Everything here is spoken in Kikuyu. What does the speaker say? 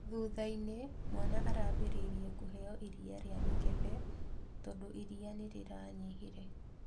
Thutha-inĩ mwana arambĩrĩirie kũheo iria rĩa mĩkebe tondũ iria nĩrĩranyihire.